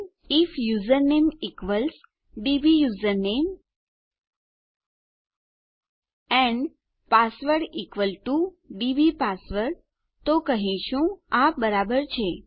if our username equals DB username and password is equal TO our DB password તો આપણે કહીશું આ બરાબર છે